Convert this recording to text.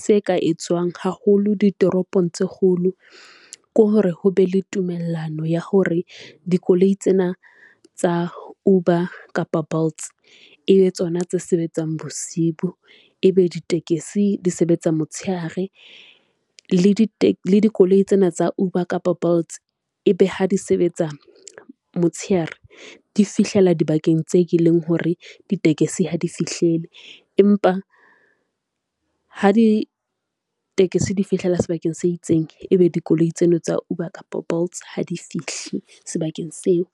se ka e tswang haholo ditoropong tse kgolo, ke hore ho be le tumellano ya hore dikoloi tsena tsa Uber kapa Bolts e be tsona tse sebetsang bosibu, e be ditekesi di sebetsa, motshehare. Le dikoloi tsena tsa Uber kapa Bolts ebe ha di sebetsa motshehare di fihlela dibakeng tse ke leng hore ditekesi ha di fihlele empa ha ditekesi di fihlela sebakeng se itseng, ebe dikoloi tsena tsa Uber kapa Bolts ha di fihli sebakeng seo.